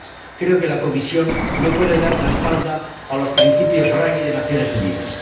Creo que la Comisión no puede dar la espalda a los principios Ruggie de las Naciones Unidas.